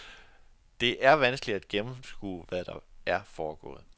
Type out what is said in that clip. Det er vanskeligt at gennemskue, hvad der er foregået.